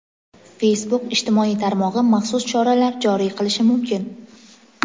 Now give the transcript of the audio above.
Facebook ijtimoiy tarmog‘i maxsus choralar joriy qilishi mumkin.